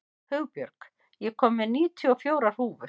Hugbjörg, ég kom með níutíu og fjórar húfur!